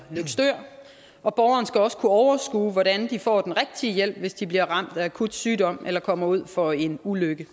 løgstør og borgerne skal også kunne overskue hvordan de får den rigtige hjælp hvis de bliver ramt af akut sygdom eller kommer ud for en ulykke